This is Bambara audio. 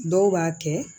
Dɔw b'a kɛ